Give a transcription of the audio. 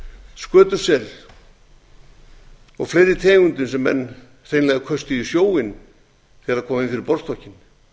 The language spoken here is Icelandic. skötusel og fleiri tegundum sem menn hreinlega köstuðu í sjóinn þegar þær komu inn fyrir borðstokkinn